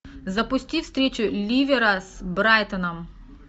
запусти встречу ливера с брайтоном